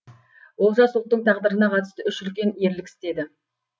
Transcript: олжас ұлттың тағдырына қатысты үш үлкен ерлік істеді